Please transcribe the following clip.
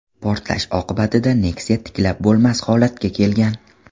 Portlash oqibatida Nexia tiklab bo‘lmas holatga kelgan.